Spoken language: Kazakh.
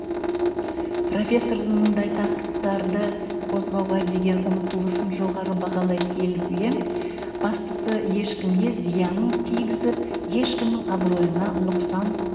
профессордың мұндай тақырыптарды қозғауға деген ұмтылысын жоғары бағалай келіп ең бастысы ешкімге зиянын тигізіп ешкімнің абыройына нұқсан